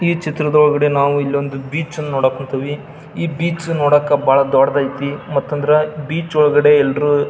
ಈ ಚಿತ್ರದೊಳಗಡೆ ನಾವು ಇಲ್ಲೊಂದು ಬೀಚ್ ಅನ್ನ ನೋಡಕ್ ಹೊಂತಿವಿ ಈ ಬೀಚ್ ನೋಡಾಕ ಬಹಳ ದೊಡ್ಡಯಿತಿ ಮತ್ತಂದ್ರ ಬೀಚ್ ಒಳಗಡೆ ಎಲ್ಲರು --